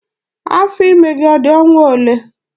Afọ ime gị ọ dị ọnwa olee?